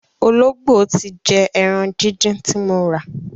Ológbò ti jẹ ẹran díndín ti mo rà.